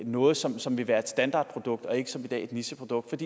noget som som vil være et standardprodukt og ikke som i dag et nicheprodukt